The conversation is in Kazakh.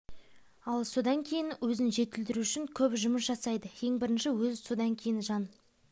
ал сондан кейін өзін жетілдіру үшін көп жұмыс жасайды ең бірінші өзі содан кейін жан